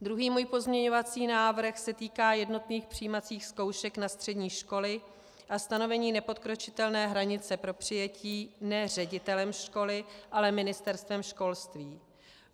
Druhý můj pozměňovací návrh se týká jednotných přijímacích zkoušek na střední školy a stanovení nepodkročitelné hranice pro přijetí ne ředitelem školy, ale Ministerstvem školství.